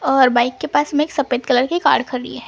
और बाइक के पास मे एक सफेद कलर की कार खड़ी--